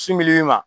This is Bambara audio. Sin dili ma